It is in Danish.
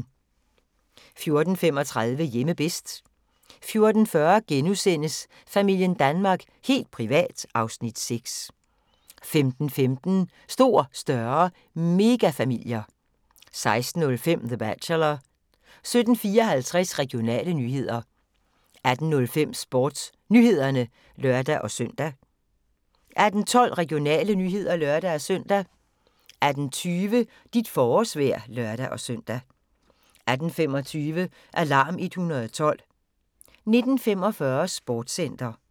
14:35: Hjemme bedst 14:40: Familien Danmark – helt privat (Afs. 6)* 15:15: Stor, større – megafamilier 16:05: The Bachelor 17:54: Regionale nyheder 18:05: SportsNyhederne (lør-søn) 18:12: Regionale nyheder (lør-søn) 18:20: Dit forårsvejr (lør-søn) 18:25: Alarm 112 19:45: Sportscenter